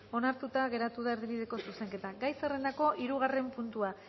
onartuta geratu da erdibideko zuzenketa gai zerrendako hirugarren puntua